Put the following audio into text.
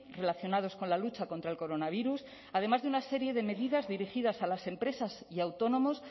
relacionados con la lucha contra el coronavirus además de una serie de medidas dirigidas a las empresas y autónomos